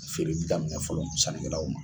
Feereli daminɛ fɔlɔ sanikɛlaw ma.